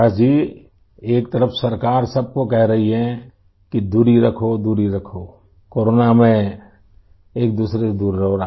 پرکاش جی ایک طرف حکومت سب کو کہہ رہی ہے کہ دوری رکھو دوری رکھو، کو رونا میں ایک دوسرے سے دور رہو